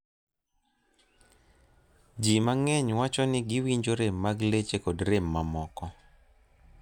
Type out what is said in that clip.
Ji mang'eny wacho ni giwinjo rem mag leche kod rem mamoko.